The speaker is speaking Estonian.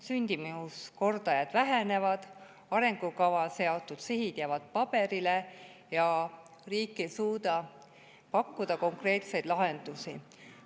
Sündimuskordajad vähenevad, arengukavas seatud sihid jäävad paberile ja riik ei suuda pakkuda konkreetseid lahendusi.